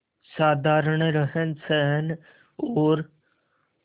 साधारण रहनसहन और